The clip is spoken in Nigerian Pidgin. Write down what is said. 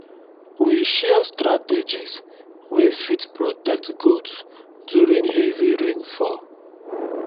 we share strategies wey fit protect goats during heavy rainfall